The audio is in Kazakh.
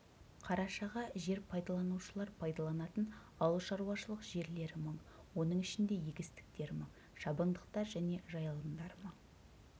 қарашаға жер пайдаланушылар пайдаланатын ауылшаруашылық жерлері мың оның ішінде егістіктер мың шабындықтар және жайылымдар мың